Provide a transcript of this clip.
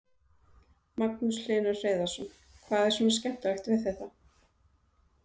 Magnús Hlynur Hreiðarsson: Hvað er svona skemmtilegt við þetta?